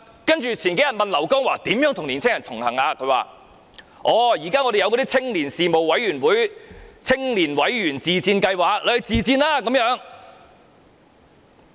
幾天後我們問劉江華如何與年輕人同行，他說："現在我們有青年事務委員會、'青年委員自薦計劃'，他們可以自薦。